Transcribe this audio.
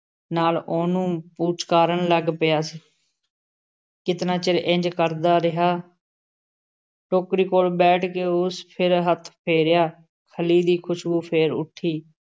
ਨਾਲ਼ ਉਹਨੂੰ ਪੁਚਕਾਰਨ ਲੱਗ ਪਿਆ । ਕਿਤਨਾ ਚਿਰ ਇੰਝ ਕਰਦਾ ਰਿਹਾ । ਟੋਕਰੀ ਕੋਲ਼ ਬੈਠ ਕੇ ਉਸ ਫਿਰ ਹੱਥ ਫੇਰਿਆ । ਖਲ਼ੀ ਦੀ ਖ਼ੁਸ਼ਬੂ ਫੇਰ ਉੱਠੀ ।